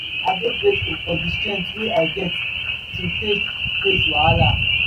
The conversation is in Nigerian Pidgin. i dey grateful for di strength wey i get to take face wahala.